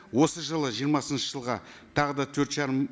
осы жылы жиырмасыншы жылға тағы да төрт жарым